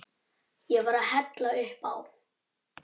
Ég var að hella upp á.